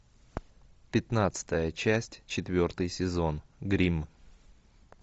пятнадцатая часть четвертый сезон гримм